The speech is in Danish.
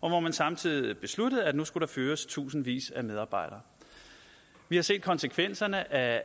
og hvor man samtidig besluttede at der nu skulle fyres tusindvis af medarbejdere vi har set konsekvenserne af